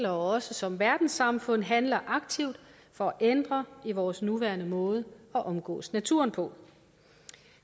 og også som verdenssamfund handler aktivt for at ændre vores nuværende måde at omgås naturen på